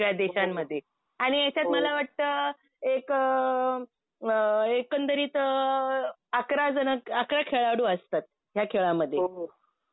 वेगवेगळ्या देशांमध्ये. आणि याच्यात मला वाटतं एक एकंदरीत अकरा जण अकरा खेळाडू असतात. ह्या खेळामध्ये.